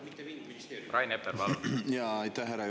Aitäh, härra juhataja!